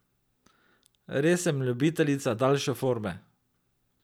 Res sem ljubiteljica daljše forme.